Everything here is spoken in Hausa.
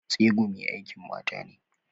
Tsegumi aikin mata ne.